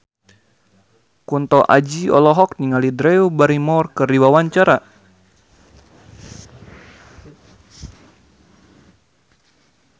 Kunto Aji olohok ningali Drew Barrymore keur diwawancara